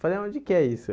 Falei, onde que é isso?